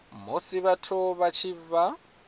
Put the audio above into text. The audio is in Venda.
musi vhathu vha tshi vha